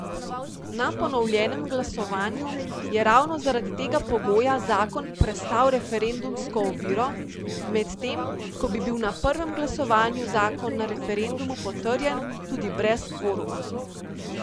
Na ponovljenem glasovanju je ravno zaradi tega pogoja zakon prestal referendumsko oviro, medtem ko bi bil na prvem glasovanju zakon na referendumu potrjen tudi brez kvoruma.